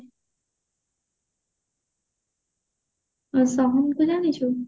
ଯୋଉ film ଦେଖିଛୁ